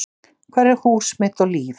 Hvar er hús mitt og líf.